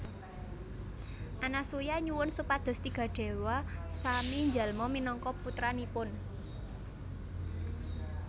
Anasuya nyuwun supados tiga déwa sami njalma minangka putranipun